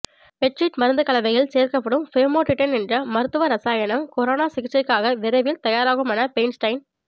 பெட்சிட் மருந்து கலவையில் சேர்க்கப்படும் ஃபேமோட்டிடைன் என்ற மருத்துவ ரசாயனம் கொரோனா சிகிச்சைக்காக விரைவில் தயாராகுமென பெயின்ஸ்டைன்